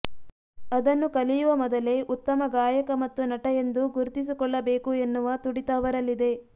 ಅದನ್ನು ಕಲಿಯುವ ಮೊದಲೇ ಉತ್ತಮ ಗಾಯಕ ಮತ್ತು ನಟ ಎಂದು ಗುರ್ತಿಸಿಕೊಳ್ಳಬೇಕು ಎನ್ನುವ ತುಡಿತ ಅವರಲ್ಲಿದೆ